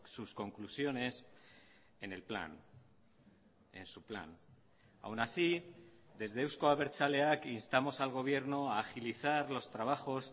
sus conclusiones en el plan en su plan aún así desde euzko abertzaleak instamos al gobierno a agilizar los trabajos